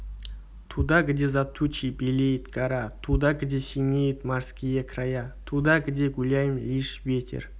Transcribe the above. туда где за тучей белеет гора туда где синеют морские края туда где гуляем лишь ветер